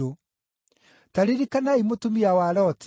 Ta ririkanai mũtumia wa Loti!